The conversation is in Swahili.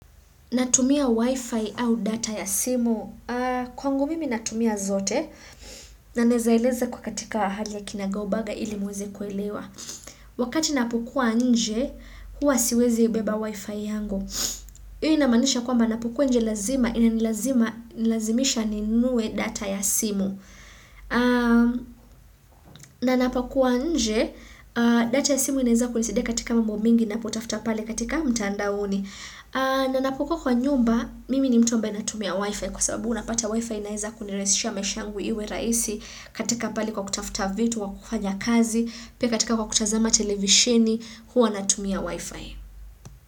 Natumia wifi au data ya simu? Kwangu mimi natumia zote. Na naezaeleza kwa katika hali ya kinagaubaga ili muweze kuelewa. Wakati napokua nje, huwa siwezebeba wifi yangu. Hiyo inamaanisha kwamba ninapokua nje lazima, inanilazimisha ninue data ya simu. Na napokua nje, data ya simu inaeza kunisidia katika mambo mingi ninapotafuta pale katika mtandaoni. Na ninapokuwa kwa nyumba, mimi ni mtu ambaye natumia wifi kwa sababu unapata wifi inaeza kunirahisisha maisha yangu iwe rahisi katika pali kwa kutafuta vitu, kwa kufanya kazi, pia katika kwa kutazama televishini, huwa natumia wifi.